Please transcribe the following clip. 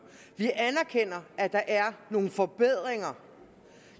vi anerkender at der er nogle forbedringer